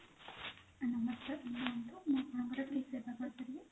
ନମସ୍କାର କୁହନ୍ତୁ ମୁଁ ଆପଣଙ୍କର କି ସେବା କରିପାରିବି?